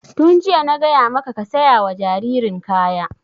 Tun jiya na gaya maka ka saya wa jaririn kaya!